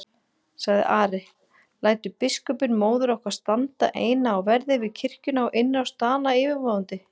sagði Ari,-lætur biskupinn móður okkar standa eina á verði við kirkjuna og innrás Dana yfirvofandi?